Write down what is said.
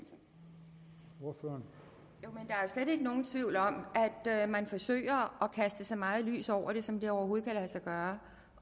jo slet ikke nogen tvivl om at man forsøger at kaste så meget lys over det som det overhovedet kan lade sig gøre